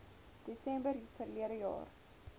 desember verlede jaar